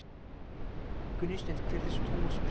Gunnsteinn:- Hver er þessi Tómas prentari?